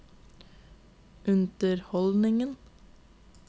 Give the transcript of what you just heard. underholdningen